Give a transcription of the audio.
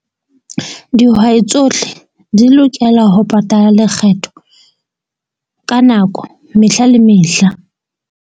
Dihwai tsohle di lokela ho patala lekgetho ka nako mehla le mehla.